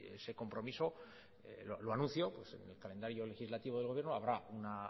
ese compromiso lo anuncio en el calendario legislativo del gobierno habrá